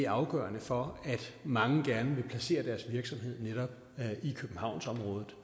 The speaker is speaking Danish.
afgørende for at mange gerne vil placere deres virksomhed netop i københavnsområdet